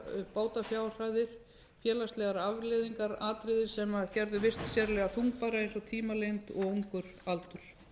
á bótafjárhæðir félagslegar afleiðingar atriði sem gerðu vist sérlega þungbæra eins og tímalengd og ungur aldur